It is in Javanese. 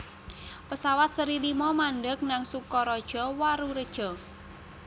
pesawat seri limo mandheg nang Sukaraja Warureja